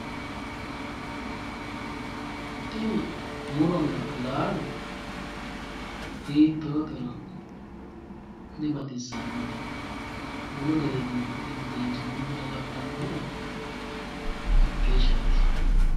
Tini muronna laalo hiitootero dibaxissannote, bunu gede duu'mitino xeensoonni buna labbannohura hakeeshaati.